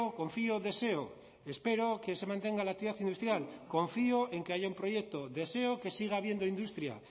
confío deseo espero que se mantenga la actividad industrial confío en que haya un proyecto deseo que siga habiendo industria